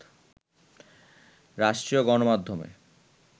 রাষ্ট্রীয় গণমাধ্যমে